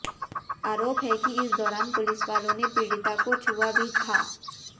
आरोप है कि इस दौरान पुलिसवालों ने पीड़िता को छुआ भी था